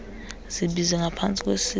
zibize ngapantsi kwesixa